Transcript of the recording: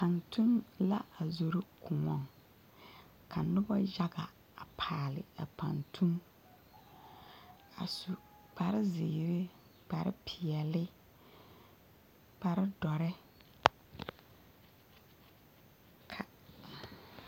Pantuŋ la a zoro koɔŋ ka noba yaga a paale a pantuŋ a su kparezeere kparepeɛlle kparedɔre ka.